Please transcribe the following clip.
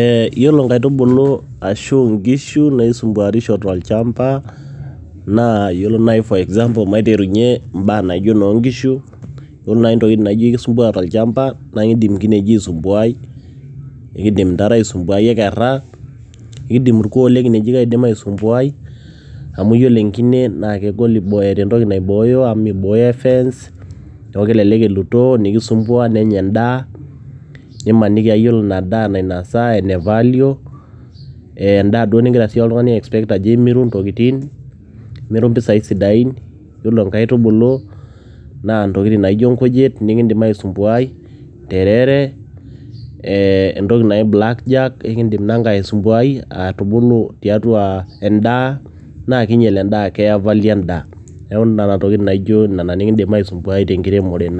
ee iyiolo nkaitubulu, ashu nkishu naisumbuarisho tolcampa. naa iyiolo maiterunye for example ibaa naijo nkishu. ore naaji intokitin naijo ekisumbuaa tolchampa naa idim, inkineji aisumbuaai, ekidim intare aisumbuaai ekera, ekidim irkuoo le kineji aisumbuaai, amu ore enkine naa kegol eeta entoki naibooyo, amu mibooyo e fence neeku kelelek elutoo nenya edaa, neeku ore ina daa nainosa naa ene value ,edaa duo nigira siiyie oltungani aispect ajo imiru moisai sidain, ore nkaitubulu naa ntokitin naijo nkujit, nikidim aisumbuaai, nterere, entoki naji blackjack ,neeku nena tokitin nikidim aisumbuaai tenkiremore